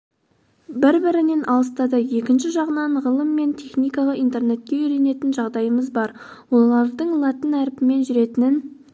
бір-бірінен алыстады екінші жағынан ғылым мен техникаға интернетке үйренетін жағдайымыз бар олардың латын әрпімен жүретінін